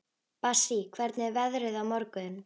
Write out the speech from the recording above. Bassí, hvernig er veðrið á morgun?